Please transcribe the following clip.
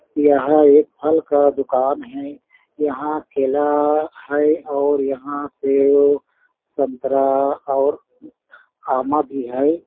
यहाँ एक फल का दुकान है। यहाँ केला है और यहाँ सेव संतरा और आमा भी है।